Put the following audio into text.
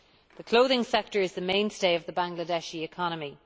The clothing sector is the mainstay of the Bangladeshi economy.